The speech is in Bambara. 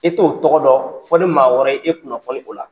E t'o tɔgɔ dɔn fɔ maa wɛrɛ ye e kunafoli